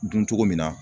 Dun cogo min na